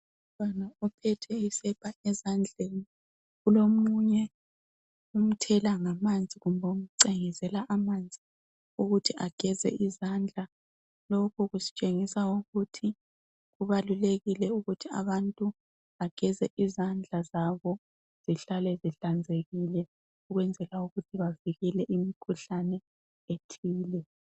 Umntwana ophethe isepa ezandleni kulomunye omthela ngamanzi kumbe omcengezela amanzi ukuthi ageze izandla. Lokhu kusitshengisa ukuthi kubalulekile ukuthi abantu bageze izandla zabo behlale behlanzekile ukwenzela ukuthi bavikele imikhuhlane ethile.